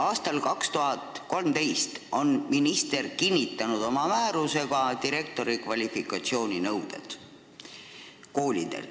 Aastal 2013 on minister kinnitanud oma määrusega koolide direktorite kvalifikatsiooninõuded.